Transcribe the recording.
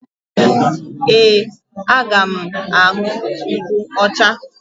Ee, aga m aṅụ nkwụ ọcha.